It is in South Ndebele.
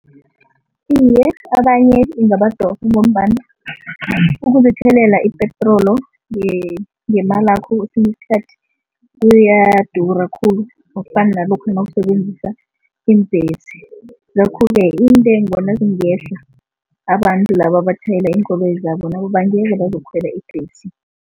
Iye, abanye ingabadosa ngombana ukuzithelelela ipetrolo ngemalakho kwesinye isikhathi kuyadura khulu. Akufani nalokha nawusebenzisa iimbhesi ngakho-ke intengo nazingehla, abantu laba abatjhayela iinkoloyi zabo nabo bangeza bazokukhwela ibhesi.